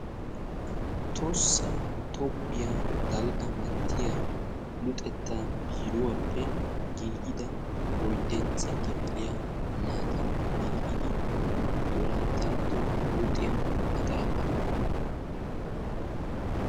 Tohossa toophiya luxetta biiruwappe giiggidda oyddantta kifiliya wolayttato luxetta maxafaa.